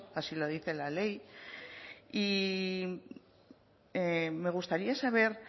así lo dice la ley y me gustaría saber